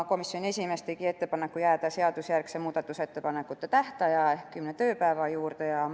Komisjoni esimees tegi ettepaneku jääda seadusjärgse muudatusettepanekute tähtaja ehk kümne tööpäeva juurde.